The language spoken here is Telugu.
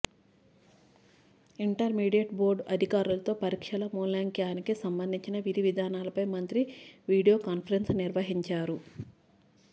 ఇంటర్మీడియట్ బోర్డు అధికారులతో పరీక్షల మూల్యాంకానానికి సంబంధించిన విధివిధానాలపై మంత్రి వీడియో కాన్ఫరెన్స్ నిర్వహించారు